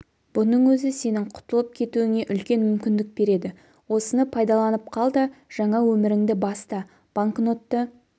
бұның өзі сенің құтылып кетуіңе үлкен мүмкіндік береді осыны пайдаланып қал да жаңа өміріңді баста банкнотты